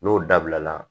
N'o dabila